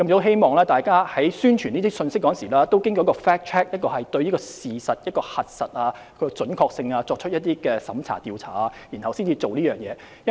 希望大家在發布這些信息時進行對事實的核實，就其準確性作出一些審查或調查後才發布。